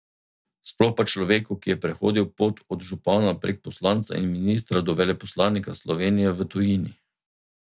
Sploh pa človeku, ki je prehodil pot od župana prek poslanca in ministra do veleposlanika Slovenije v tujini.